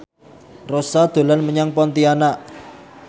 Rossa dolan menyang Pontianak